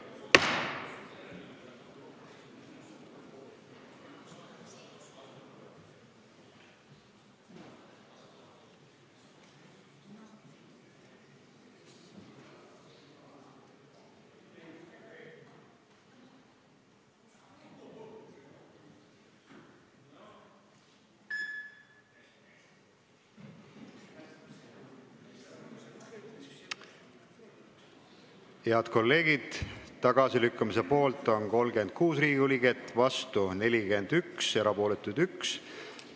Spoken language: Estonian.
Hääletustulemused Head kolleegid, tagasilükkamise poolt on 36 Riigikogu liiget, vastu on 41 ja erapooletuks jäi 1.